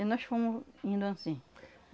E nós fomos indo anssim.